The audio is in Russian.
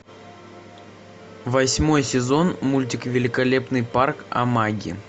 восьмой сезон мультик великолепный парк амаги